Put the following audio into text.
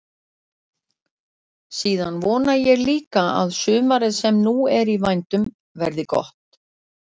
Síðan vona ég líka að sumarið sem nú er í vændum verði gott.